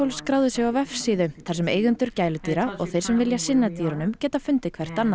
skráðu sig á vefsíðu þar sem eigendur gæludýra og þeir sem vilja sinna dýrunum geta fundið hvert annað